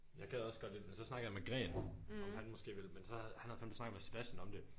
Jeg gad også godt lidt men så snakkede jeg med gren om han måske ville men så havde han havde fandeme snakket med Sebastian om det